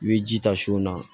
I bɛ ji ta su na